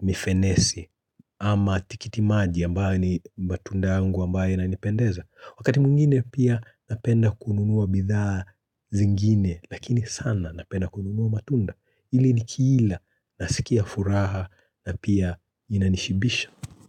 mifenesi, ama tikitimaji ambayo ni matunda yangu ambayo inanipendeza. Wakati mwingine pia napenda kununua bidhaa zingine, lakini sana napenda kununua matunda. Hili nikiila, nasikia furaha na pia inanishibisha.